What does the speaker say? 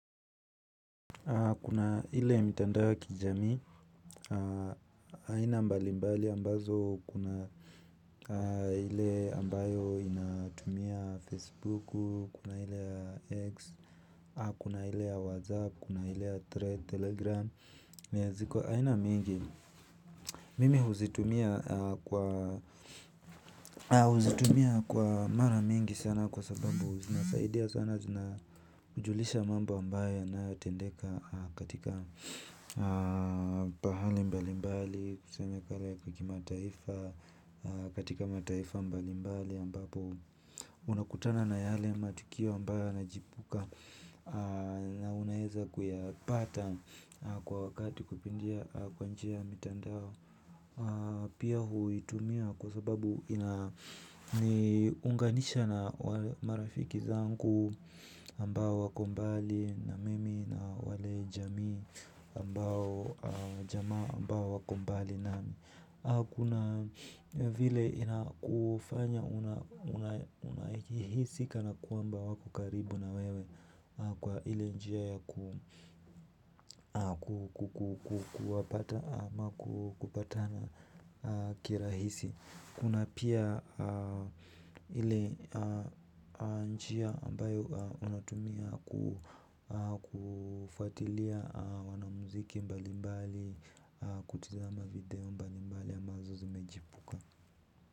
Kuna ile mitandao ya kijami aina mbalimbali ambazo kuna ile ambayo inatumia Facebook kuna ile ya x. Kuna ile whatsapp kuna ile telegram ziko aina mingi. Mimi huzitumia kwa mara mingi sana kwa sababu zina saidia sana. Zina kujulisha mambo ambayo yanayotendeka katika pahali mbali mbali tuseme kare kimataifa katika mataifa mbali mbali ambapo unakutana na yale matukio ambayo yanachipuka. Na unaeza kuyapata kwa wakati kupitia kwa njia ya mitandao. Pia huitumia kwa sababu inaniunganisha na marafiki zangu ambao wako mbali na mimi na wale jamii ambao jamaa ambao wako mbali nami kuna vile inakufanya unahisi kana kwamba wako karibu na wewe kwa ile njia ya kuwapata ama kupatana kirahisi. Kuna pia ile njia ambayo unatumia kufuatilia wanamuziki mbali mbali kutizama video mbali mbali.